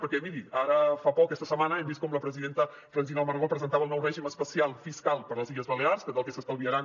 perquè miri ara fa poc aquesta setmana hem vist com la presidenta francina armengol presentava el nou règim especial fiscal per a les illes balears que del que s’estalviaran